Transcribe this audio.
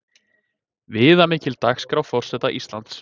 Viðamikil dagskrá forseta Íslands